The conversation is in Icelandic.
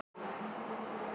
Björgunarsveitir kallaðar út